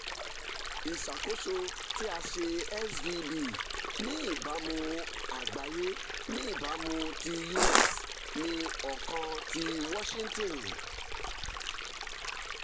iṣakoso ti a ṣe svb ni ibamu agbaye ni ibamu ti us ni ọkan ti washington